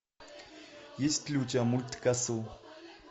есть ли у тебя мульт касл